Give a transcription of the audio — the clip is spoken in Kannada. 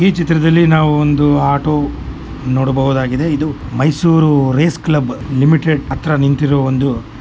ಈ ಚಿತ್ರದಲ್ಲಿ ನಾವು ಒಂದು ಆಟೋ ನೋಡಬಹುದಾಗಿದೆ ಇದು ಮೈಸೂರು ರೆಸ್ ಕ್ಲಬ್ ಲಿಮಿಟೆಡ್ ಹತ್ರ ನಿಂತಿರುವ ಒಂದು --